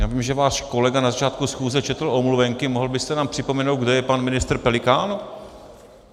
Já vím, že váš kolega na začátku schůze četl omluvenky, mohl byste nám připomenout, kde je pan ministr Pelikán?